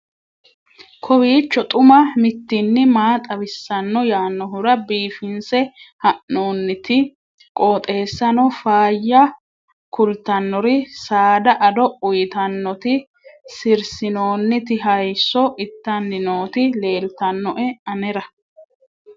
kowiicho xuma mtini maa xawissanno yaannohura biifinse haa'noonniti qooxeessano faayya kultannori saada ado uytannoti sirsinoonniti hayso ittanni nooti leeltannoe anera